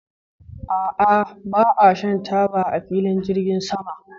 A'a, ba a shan taba a filin jirgin sama.